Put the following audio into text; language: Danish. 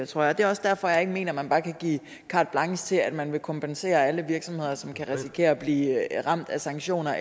tror jeg det er også derfor jeg ikke mener at man bare kan give carte blanche til at man vil kompensere alle virksomheder som kan risikere at blive ramt af sanktioner